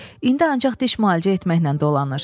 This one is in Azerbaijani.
İndi ancaq diş müalicə etməklə dolanır.